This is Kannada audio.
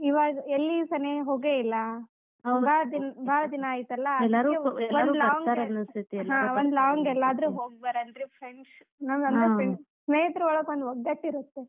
ಇವಾಗ್ ಎಲ್ಲಿ ಸನೇ ಹೋಗೆ ಇಲ್ಲಾ ಭಾಳ ದಿನ ಅಯ್ತಲ್ಲ . Friends ಸ್ನೇಹಿತರೋಳಗ್ ಒಂದ್ ಒಗ್ಗಟ್ಟ್ ಇರುತ್ತೆ.